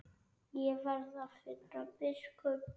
Ég verð að finna biskup!